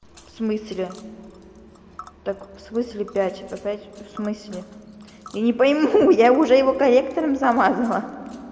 в смысле так в смысле пять опять в смысле я не пойму я уже его корректором замазала